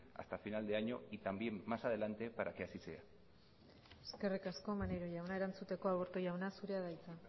hasta final de año y también más adelante para que así sea eskerrik asko maneiro jauna erantzuteko aburto jauna zurea da hitza